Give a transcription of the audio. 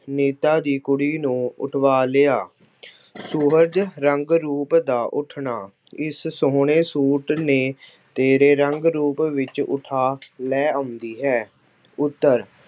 ਨੇਤਾ ਦੀ ਕੁੜੀ ਨੂੰ ਉੱਠਵਾ ਲਿਆ। ਸੁਹਜ ਰੰਗ ਰੂਪ ਦਾ ਉੱਠਣਾ- ਇਸ ਸੋਹਣੇ ਸੂਟ ਨੇ ਤੇਰੇ ਰੰਗ ਰੂਪ ਵਿੱਚ ਉੱਠਾ ਲੈ ਆਉਂਦੀ ਹੈ। ਉੱਤਰ-